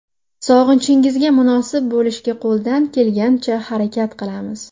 Sog‘inchingizga munosib bo‘lishga qo‘ldan kelganicha harakat qilamiz.